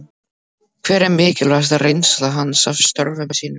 Hver er mikilvægasta reynsla hans af störfum sínum?